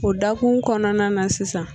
O dakun kɔnɔna na sisan